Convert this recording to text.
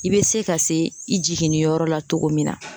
I be se ka se i jiginni yɔrɔ la cogo min na.